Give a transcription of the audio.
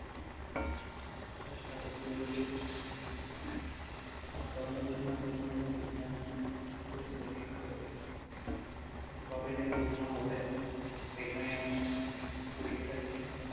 চেষ্টা তো চলছে আর সপ্ন যেদিন পুরন হবে সেদিন আমি খুব খুশি হব কিন্তু কবে যে পূর্ণ হবে সেটাই আমি বুঝতে পারছি না